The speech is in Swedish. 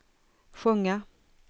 sjunga